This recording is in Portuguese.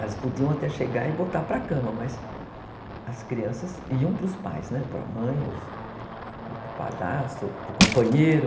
Elas podiam até chegar e botar para a cama, mas as crianças iam para os pais, né, ou para a mãe, ou para o padrasto, para o companheiro.